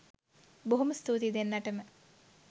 බොහොම ස්තූතියි දෙන්නටම